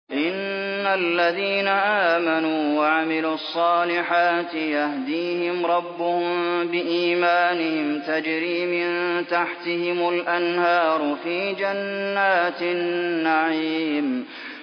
إِنَّ الَّذِينَ آمَنُوا وَعَمِلُوا الصَّالِحَاتِ يَهْدِيهِمْ رَبُّهُم بِإِيمَانِهِمْ ۖ تَجْرِي مِن تَحْتِهِمُ الْأَنْهَارُ فِي جَنَّاتِ النَّعِيمِ